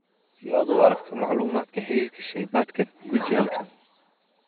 Si aad u aragto macluumaadka xiriirka shaybaadhkan, guji halkan.